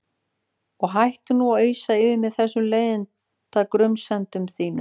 Og hættu nú að ausa yfir mig þessum leiðinda grunsemdum þínum.